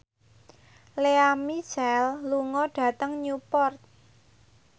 Lea Michele lunga dhateng Newport